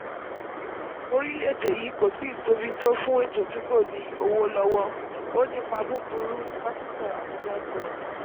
orílẹ̀-èdè yìí kò tíì tóbi fún ètò tí kò ní owó lọ́wọ́; ó n nípa búburú pásítọ̀ abuja sọ.